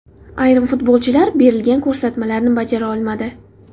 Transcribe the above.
Ayrim futbolchilar berilgan ko‘rsatmalarni bajara olmadi.